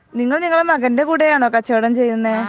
നിങ്ങൾ നിങ്ങളുടെ മകൻ്റെ കൂടെ ആണോ കച്ചവടം ചെയ്യുന്നേ